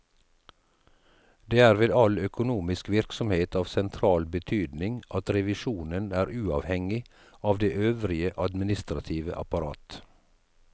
Det er ved all økonomisk virksomhet av sentral betydning at revisjonen er uavhengig av det øvrige administrative apparat.